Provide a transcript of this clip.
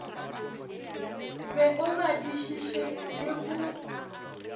be o badišiše le go